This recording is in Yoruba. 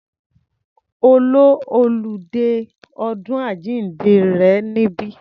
Ó lo oludé ọdún àjíǹde rẹ̀ níbí.